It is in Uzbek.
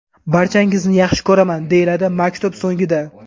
Barchangizni yaxshi ko‘raman!” deyiladi maktub so‘ngida.